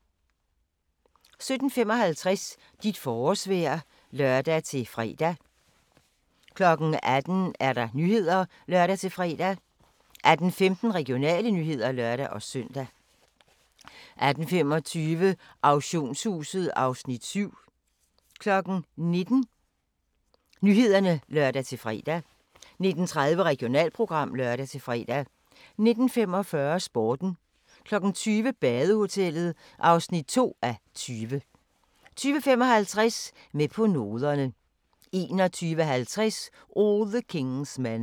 17:55: Dit forårsvejr (lør-fre) 18:00: Nyhederne (lør-fre) 18:15: Regionale nyheder (lør-søn) 18:25: Auktionshuset (Afs. 7) 19:00: Nyhederne (lør-fre) 19:30: Regionalprogram (lør-fre) 19:45: Sporten 20:00: Badehotellet (2:20) 20:55: Med på noderne 21:50: All the King's Men